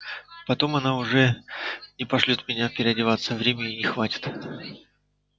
потом она уже не пошлёт меня переодеваться времени не хватит